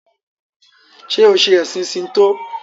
ṣe o ṣe ẹsìn Shinto?